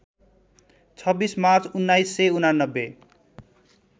२६ March १९८९